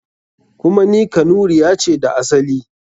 Kuma ni Kanuriya ce da asali.